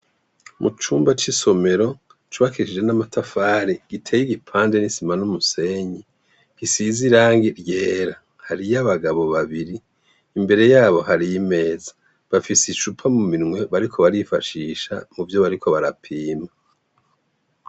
Mu cumba c’isomero cubakishije n'amatafari giteye igipande, n'isima n'umusenyi, gisize irangi ry'era. Hariyo abagabo babiri imbere yabo hari imeza, bafise icupa mu minwe bariko barifashisha mu vyo bariko barapima.